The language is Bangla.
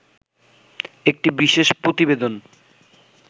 একটি বিশেষ প্রতিবেদন